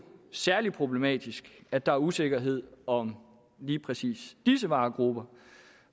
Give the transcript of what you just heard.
særlig problematisk at der er usikkerhed om lige præcis disse varegrupper